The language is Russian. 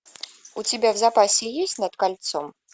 у тебя в запасе есть над кольцом